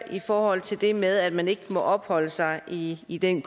i forhold til det med at man ikke må opholde sig i i den